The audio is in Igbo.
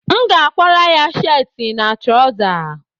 M ga-akwara ya sheetị na traụza